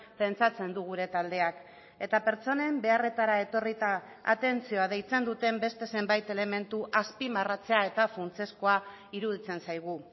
pentsatzen du gure taldeak eta pertsonen beharretara etorrita atentzioa deitzen duten beste zenbait elementu azpimarratzea eta funtsezkoa iruditzen zaigu